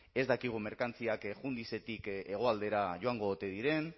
ez dakigu merkantziak jundizetik hegoaldera joango ote diren